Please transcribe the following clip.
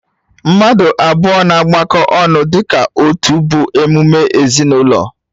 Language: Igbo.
Mmadụ abụọ na-agbakọta ọnụ dịka otu bụ emume ezinụlọ